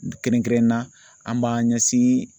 Kɛrɛnkɛrɛnnena an b'an ɲɛsin